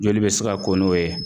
Joli bɛ se ka ko n'o ye